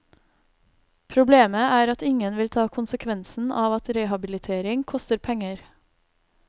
Problemet er at ingen vil ta konsekvensen av at rehabilitering koster penger.